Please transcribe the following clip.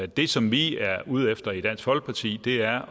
det som vi er ude efter i dansk folkeparti er